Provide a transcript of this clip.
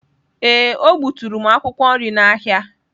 Ee, o gbuturu m akwụkwọ nri n’ahịa.